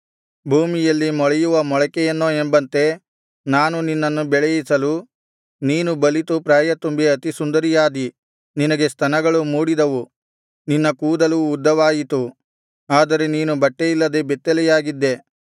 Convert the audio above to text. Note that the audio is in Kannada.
ಭೂಮಿಯಲ್ಲಿ ಮೊಳೆಯುವ ಮೊಳಿಕೆಯನ್ನೋ ಎಂಬಂತೆ ನಾನು ನಿನ್ನನ್ನು ಬೆಳೆಯಿಸಲು ನೀನು ಬಲಿತು ಪ್ರಾಯತುಂಬಿ ಅತಿಸುಂದರಿಯಾದಿ ನಿನಗೆ ಸ್ತನಗಳು ಮೂಡಿದವು ನಿನ್ನ ಕೂದಲು ಉದ್ದವಾಯಿತು ಆದರೆ ನೀನು ಬಟ್ಟೆಯಿಲ್ಲದೆ ಬೆತ್ತಲೆಯಾಗಿದ್ದೆ